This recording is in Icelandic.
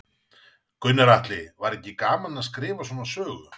Gunnar Atli: Var ekki gaman að skrifa svona sögu?